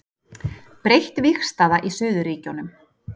Breytt vígstaða í suðurríkjunum